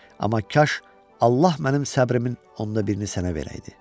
Amma kaş Allah mənim səbrimin onda birini sənə verəydi.